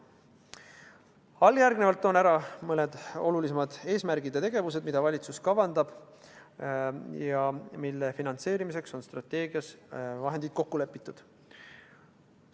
Alljärgnevalt toon ära mõned olulisemad eesmärgid ja tegevused, mida valitsus kavandab ja mille finantseerimiseks on strateegias vahendid kokku lepitud.